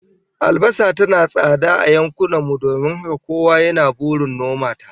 Albasa tana tsada a yankunan mu don haka kowa yana burin noma ta